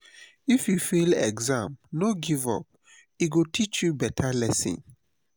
if you fail exam no give up e go teach you beta lesson.